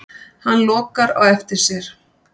Hann lokar á eftir sér.